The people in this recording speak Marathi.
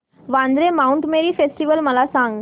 वांद्रे माऊंट मेरी फेस्टिवल मला सांग